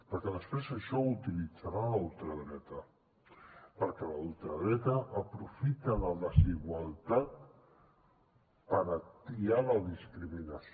perquè després això ho utilitzarà la ultradreta perquè la ultradreta aprofita la desigualtat per atiar la discriminació